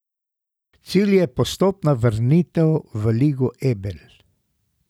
Cilj je postopna vrnitev v Ligo Ebel.